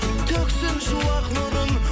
төксін шуақ нұрын